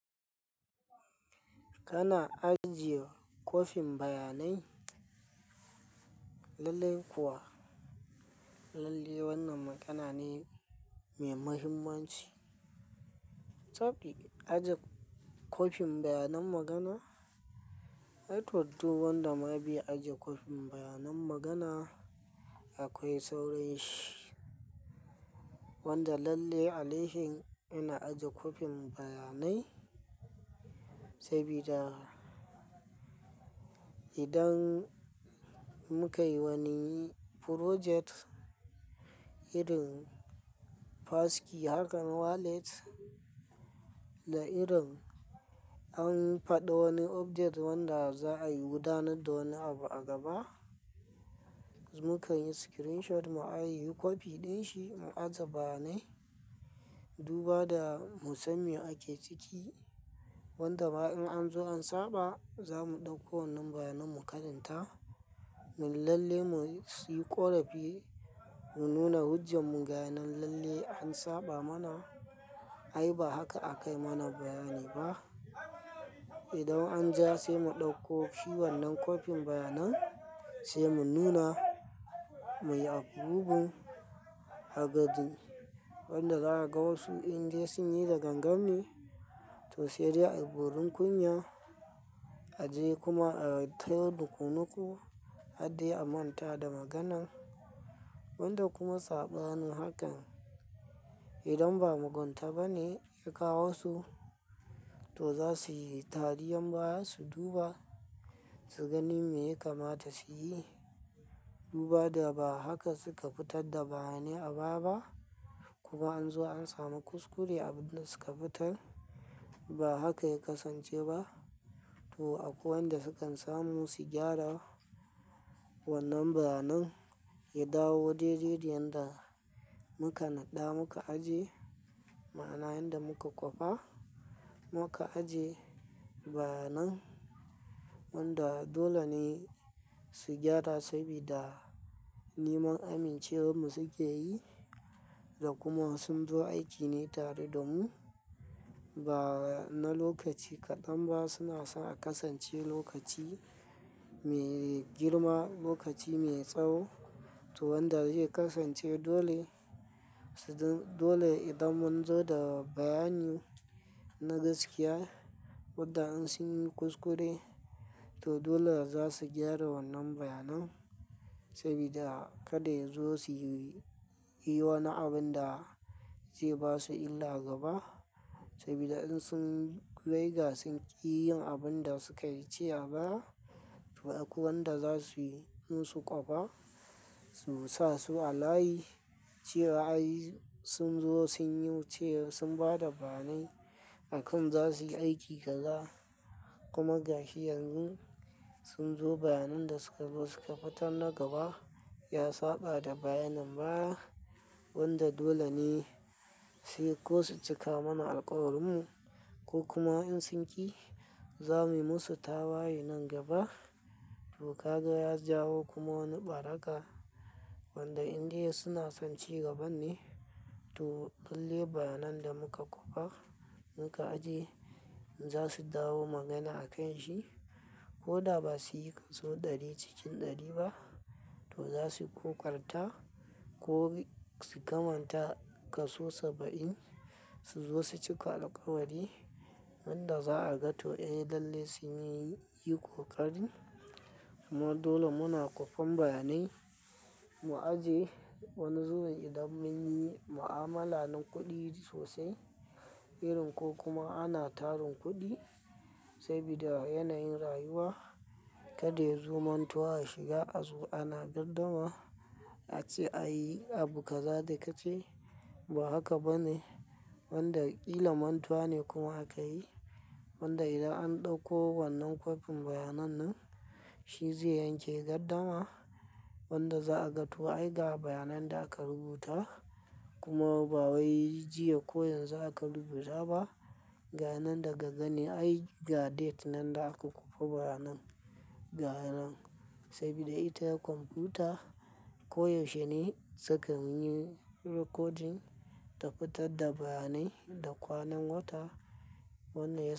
Kana ajiye kofin bayanai lalle kuwa, lalle wannan magana ne mai mahimmanci. Tab ɗi ajiye kofin bayanan magana, ai to duk wanda ma bai aje kofin bayanan magana akwai sauranshi. Wanda lalle a laihin yana ajiya kofin bayanai sabida idan muka yi wani project irin passkey haka na wallet da irin an faɗi wani update wanda za a yi gudanar da wani abu a gaba, muka yi screenshot mu a ajiya copy ɗin shi mu ajiya bayanai. Duba da mu san me ake ciki wanda ma in an zo an saba za mu ɗauko wannan bayanai mu karanta. Mun lalle mu siyi ƙorafi mu nuna hujjanmu ga yanan lalle an saba mana. Ai ba haka aka yi mana bayani ba. Idan an ja sai mu ɗauko shi wannan copy bayanan sai mu nuna, mu yi approving wanda za a ga wasu indai sun yi da gangan ne. To sai dai a yi borin kunya a je kuma a taya yin nuƙunuƙu, har dai a manta da maganan. Wanda kuma saɓanin hakan idan ba mugunta ba ne ya kawo su, to za su yi tari don baya su duba su gani me ya kamata su yi. Duba da ba haka suka fitar da bayanai a baya ba. Kuma an zo an samu kuskure abunda suka fitar ba haka ya kasance ba. To akwai wanda sukan samu su gyara wannan bayanai ya dawo daidai yadda muka naɗa muka ajiye. Ma'ana yadda muka kwafa muka ajiye bayanai wanda dole ne su gyara sabida neman amincewarmu suke yi da kuma sun zo aiki ne tare da mu. Ba na lokaci kaɗan ba suna son a kasance lokaci mai girma, lokaci mai tsawo. To wanda zai kasance dole, dole idan mun zo da bayani na gaskiya wanda in sun yi kuskure, to dole za su gyara wannan bayanai sabida kada ya zo su yi wani abun da zai ba su illa gaba. Sabida in sun riga sun ƙi yin abun da sukayi ce a baya, to akwai wanda za su yi musu ƙafa su sa su a layi cewa ai sun zo sun yi, cewa sun ba da bayanai. Akan za su yi aiki kaga kuma gashi yanzun sun zo bayanan da suka zo suka fitar na gaba ya saɓa da bayanan baya. Wanda dole ne sai ko su cika mana alkawarinmu ko kuma in sun ƙi, za mu yi musu tawaye nan gaba. To ka ga ya jawo kuma wani ɓaraka wanda indai suna son ci gaban ne. To lalle bayanai da muka kwafa muka ajiye za su dawo magana a kan shi. Ko da ba su yi ƙaso ɗari cikin ɗari ba, to za su ƙoƙarta ko su kamanta ƙaso saba'in su zo su cika alkawari. Wanda za a ga to ai lalle sun yi ƙoƙari kuma dole muna kwafen bayanai mu ajiye. Wani zuwa idan mun yi mu'amala na kuɗi sosai irin ko kuma ana tarin kuɗi sabida yanayin rayuwa, kada su zo mantuwa a shiga a zo ana gardama a ce a yi abu kaza da ka ce ba haka ba ne. Wanda ƙilla mantuwa ne kuma aka yi. Wanda idan an ɗauko wannan kopin bayanan nan shi zai yanke gardama wanda za a ga to ai ga bayanai da aka rubuta kuma ba wai jiya ko yanzu aka rubuta ba. Gayi nan daga gani ai ga date nan da aka kwafa bayanai ga yanan. Sabida ita komfuta koyaushe ne suka munyi recording ta fitar da bayanai da kwanan wata wannan yasa.